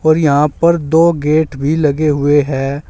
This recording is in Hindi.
और यहां पर दो गेट भी लगे हुए है।